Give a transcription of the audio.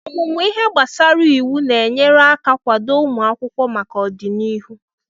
Ọmụmụ ihe gbasara iwu ga-enyere aka kwado ụmụ akwụkwọ maka ọdịnihu.